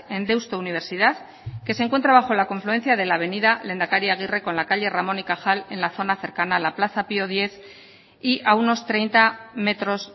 en deusto universidad que se encuentra bajo la confluencia de la avenida lehendakari aguirre con la calle ramón y cajal en la zona cercana a la plaza pio décimo y a unos treinta metros